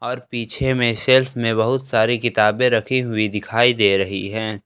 और पीछे में शेल्फ में बहुत सारी किताबें रखी हुई दिखाई दे रही हैं।